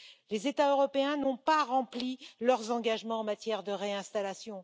Les États européens n'ont pas rempli leurs engagements en matière de réinstallation.